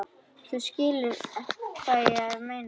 Þú skilur hvað ég meina.